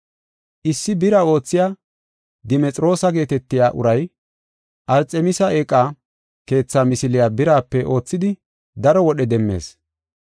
Issi bira oothiya Dimexiroosa geetetiya uray Arxemisi eeqa keetha misiliya birape oothidi daro wodhe demmees.